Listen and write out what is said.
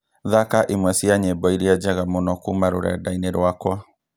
thaka imwe cia nyĩmbo iria njega mũno kuuma rũrenda-inĩ rwakwa